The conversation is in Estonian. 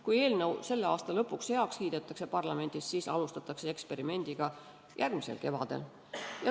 Kui eelnõu selle aasta lõpuks parlamendis heaks kiidetakse, siis alustatakse eksperimenti järgmisel kevadel.